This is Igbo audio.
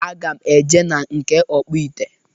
Aga m eje na nke ọkpụ ite.